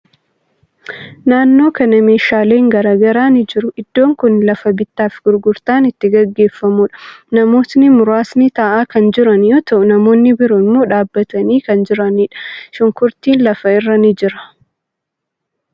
Naannoo kana meeshaalen garagaraa ni jiru. Iddoon kuni lafa bittaa fi gurgurtaan itti gaggeeffamuudha. Namootni muraasni taa'aa kan jiran yoo ta'u, namootni biroo immoo dhaabbatanii kan jiraniidha. Shunkurtiin lafa irra ni jira.